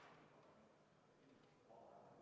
Tundub, et kõik on korras.